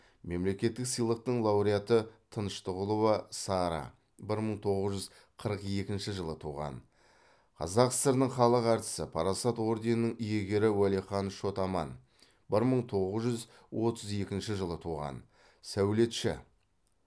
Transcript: мемлекеттік сыйлықтың лауреаты тыныштығұлова сара бір мың тоғыз жүз қырық екінші жылы туған қазақ сср інің халық әртісі парасат орденінің иегері уәлихан шот аман бір мың тоғыз жүз отыз екінші жылы туған сәулетші